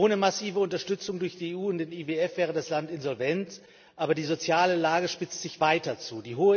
Ohne massive Unterstützung durch die EU und den IWF wäre das Land insolvent, aber die soziale Lage spitzt sich weiter zu.